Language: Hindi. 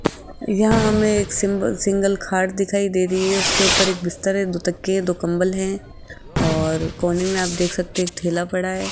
यहां हमे एक सिंपल सिंगल खाट दिखाई दे रही है उसके ऊपर एक बिस्तर है दो तकिये दो कंबल है और कोने में आप देख सकते एक ठेला पड़ा है।